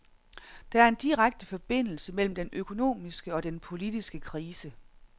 Der er en direkte forbindelse mellem den økonomiske og den politiske krise.